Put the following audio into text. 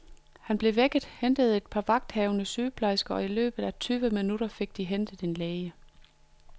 Han blev vækket, hentede et par vagthavende sygeplejersker, og i løbet af tyve minutter fik de hentet en læge.